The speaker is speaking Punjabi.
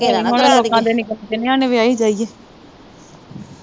ਕੋਈ ਹੁਣ ਲੋਕਾਂ ਦੇ ਨੀ ਪੁੱਤ ਕਿੰਨਿਆਂ ਨੂੰ ਵਿਆਹੀ ਜਾਏ।